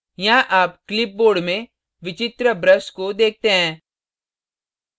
यहाँ आप clipboard में विचित्र brush को देखते हैं